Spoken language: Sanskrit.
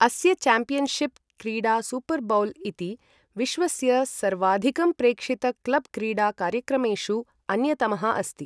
अस्य चॅम्पियनशिप् क्रीडा सुपर बाउल् इति विश्वस्य सर्वाधिकं प्रेक्षित क्लब् क्रीडा कार्यक्रमेषु अन्यतमः अस्ति ।